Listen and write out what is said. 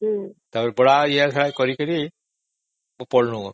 ଏମିତି ବହୁତ ପରିଶ୍ରମ କରି ପଢ଼ିଲୁ